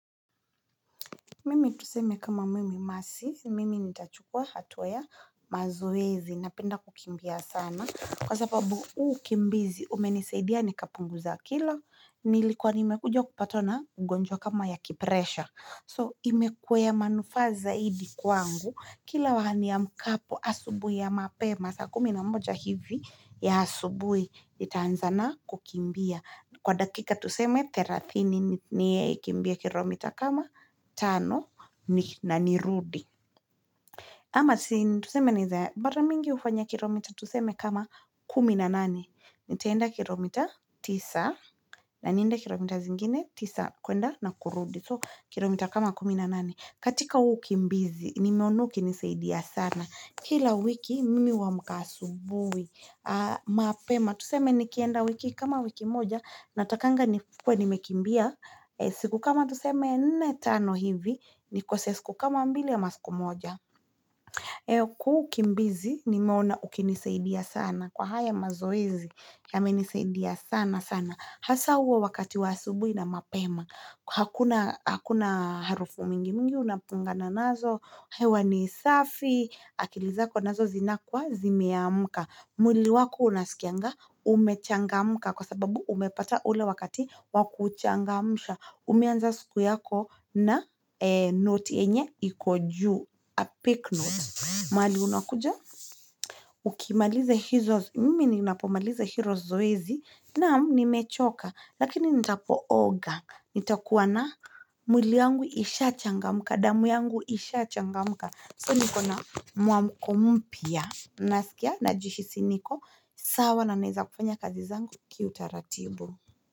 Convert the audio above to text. Mimi tuseme kama mimi mercy, mimi nitachukua hatua ya mazoezi, napenda kukimbia sana kwa sababu huu ukimbizi umenisaidia nikapunguza kilo nilikwa nimekujwa kupatwa na ugunjwa kama ya kipresha so imekuwa ya manufaa zaidi kwangu, kila huwa niamkapo asubui ya mapema saa kumi na moja hivi ya asubui nitaanza na kukimbia kwa dakika tuseme thelathini nikimbie kilomita kama tano ni na nirudi ama tuseme ni za, mara mingi hufanya kilomita tuseme kama kumi na nane nitaenda kilomita tisa, na nienda kilomita zingine tisa, kuenda na kurudi so kilomita kama kumi na nane katika huu ukimbizi, nimeona ukinisaidia sana kila wiki mimi huamka asubui mapema tuseme nikienda wiki kama wiki moja natakanga nikuwe nimekimbia siku kama tuseme nne tano hivi nikose siku kama mbili ama siku moja kwa huu ukimbizi nimeona ukinisaidia sana kwa haya mazoezi yamenisaidia sana sana hasa huo wakati wa asubui na mapema hakuna harufu mingi mingi unapungana nazo hewa ni safi akili zako nazo zinakuwa zimeamka mwili wako unaskianga umechangamka kwa sababu umepata ule wakati wa kuchangamsha umeanza siku yako na noti yenye iko juu a peak note mahali unakuja uki maliza hizo mimi ninapomaliza hilo zoezi naam nimechoka lakini nitapooga nitakuwa na mwili yangu ishachangamka damu yangu ishachangamka so nikona muamuko mpya naskia najihisi niko sawa na naeza kufanya kazi zangu kiutaratibu.